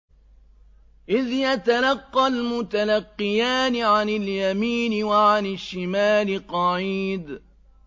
إِذْ يَتَلَقَّى الْمُتَلَقِّيَانِ عَنِ الْيَمِينِ وَعَنِ الشِّمَالِ قَعِيدٌ